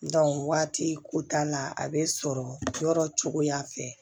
waati ko t'a la a be sɔrɔ yɔrɔ cogoya fɛ